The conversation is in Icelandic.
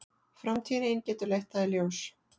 Framtíðin ein getur leitt það í ljós.